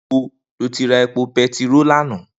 Nibó ló ti rá épó pètiró làná?